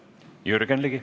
Jürgen Ligi.